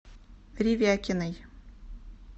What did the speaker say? ревякиной